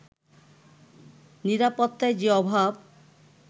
নিরাপত্তার যে অভাব